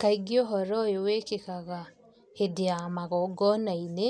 Kaingĩ ūhoro ūyū wĩkĩkaga hĩndĩ ya magongonainĩ